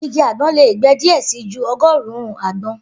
Igi agbon le gbe diẹ sii ju ọgọrun-un agbon.